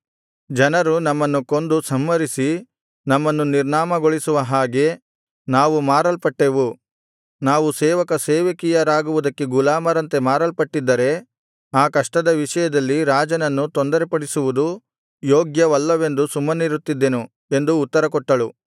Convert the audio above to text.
ಜನರು ನಮ್ಮನ್ನು ಕೊಂದು ಸಂಹರಿಸಿ ನಮ್ಮನ್ನು ನಿರ್ನಾಮಗೊಳಿಸುವ ಹಾಗೆ ನಾವು ಮಾರಲ್ಪಟ್ಟೆವು ನಾವು ಸೇವಕ ಸೇವಕಿಯರಾಗುವುದಕ್ಕೆ ಗುಲಾಮರಂತೆ ಮಾರಲ್ಪಟ್ಟಿದ್ದರೆ ಆ ಕಷ್ಟದ ವಿಷಯದಲ್ಲಿ ರಾಜನನ್ನು ತೊಂದರೆಪಡಿಸುವುದು ಯೋಗ್ಯವಲ್ಲವೆಂದು ಸುಮ್ಮನಿರುತ್ತಿದ್ದೆನು ಎಂದು ಉತ್ತರಕೊಟ್ಟಳು